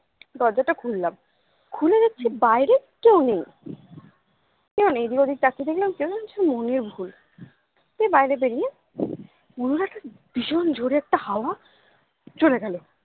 দরজাটা খুললাম খুলে দেখছি বাইরে কেউ নেই কেউ নেই এদিক ওদিক তাকিয়ে দেখলাম কেউ নেই মনের ভুল দিয়ে বাইরে বেরিয়ে মনে হলো কি ভীষণ জোরে একটা হাওয়া চলে গেলো